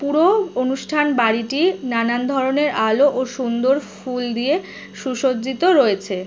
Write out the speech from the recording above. পুরো অনুষ্ঠান বাড়িটি নানান ধরণের আলো ও সুন্দর ফুল দিয়ে সুসজ্জিত রয়েছে।